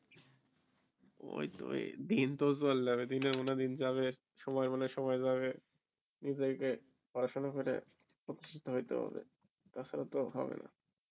ওই তো ওই দিন তো চল যাবে দিনের মতো দিন যাবে সময় হলে সময় যাবে নিজেকে পড়াশোনা করে প্রতিস্থিত হইতে হবে টা ছাড়া তো হবে না